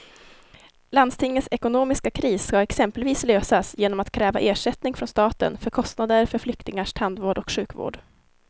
Landstingets ekonomiska kris ska exempelvis lösas genom att kräva ersättning från staten för kostnader för flyktingars tandvård och sjukvård.